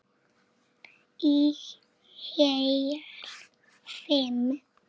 Í heil fimm